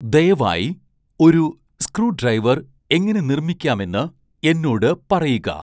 ദയവായി ഒരു സ്ക്രൂഡ്രൈവർ എങ്ങനെ നിർമ്മിക്കാമെന്ന് എന്നോട് പറയുക